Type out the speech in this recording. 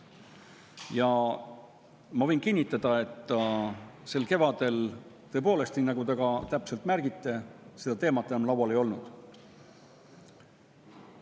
Ma võin kinnitada, et sel kevadel, nii nagu te ka täpselt märkisite, seda teemat enam laual ei olnud.